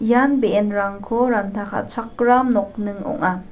ian be·enrangko ranta ka·chakram nokning ong·a.